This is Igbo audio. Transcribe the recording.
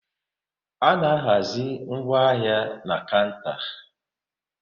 A na-ahazi ngwaahia na kanta